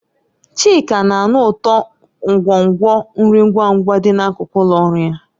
Chika na-anụ ụtọ nkwonkwo nri ngwa ngwa dị n'akụkụ ụlọ ọrụ ya.